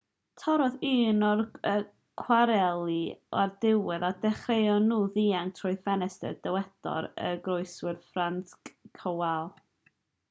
torrodd un o'r cwareli o'r diwedd a dechreuon nhw ddianc trwy'r ffenestr dywedodd y goroeswr franciszek kowal